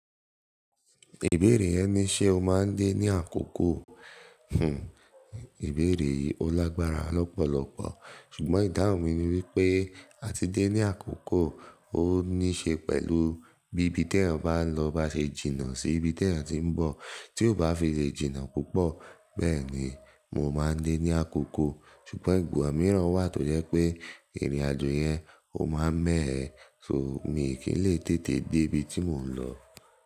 Ìbéèrè yẹn ní ṣe o máa ń dé ní àkókò. Hmm ìbéèrè olágbára lọ́pọ̀lọpọ̀ ṣùgbọ́n ìdáhùn mi ni wípé àti dé ní àkókò ó níí ṣe pẹ̀lú bí ibi tí ẹ̀yin bá lọ bá ṣe jìnnà sí ibi tí ẹ̀yin ti ń bọ̀. Tí ó bá fi lè jìnnà púpọ̀ bẹ́ẹ̀ ni mo máa ń dé ní àkókò. Ṣùgbọ́n ìgbọ̀nsẹ̀ mìíràn wà tó jẹ́ pé ìrìnàjò yẹn ó máa ń mọ ẹ́, so mi kì í lè tètè dé ibi tí mò ń lọ.